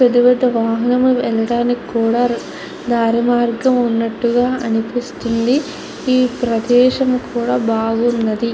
పెద్ద పెద్ద వాహనాలు వెళ్లడానికి కూడా దారి మార్గం కూడా ఉన్నట్టుగా అనిపిస్తుంది. ఈ ప్రదేశం కూడా బాగున్నది.